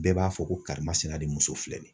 Bɛɛ b'a fɔ ko karimasina de muso filɛ nin ye .